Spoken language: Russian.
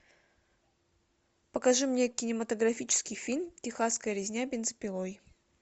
покажи мне кинематографический фильм техасская резня бензопилой